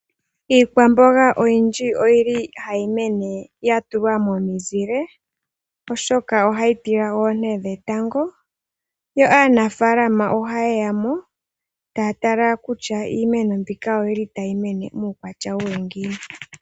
Iikwamboga oyindji oyili hayi koko ya tulwa momuzile oshoka ohayi tila oonte dhetango yo aanafaalama oha yeya mo taya tala kutya iimeno mbika oyili tayi mene muukwatya watya ngiini.